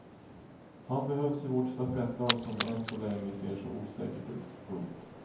Han behövs i vårt stafettlag som än så länge ser så osäkert ut. punkt